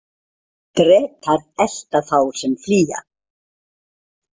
Drekar elta þá sem flýja.